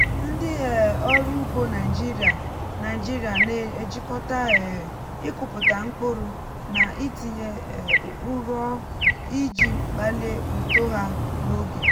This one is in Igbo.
ndị um ọrụ ugbo naịjirịa naịjirịa na-ejikọta um ịkụpụta mkpụrụ na itinye um ụrọ iji kpalie uto ha n’oge.